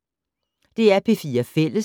DR P4 Fælles